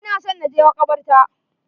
Ina son na je makabarta.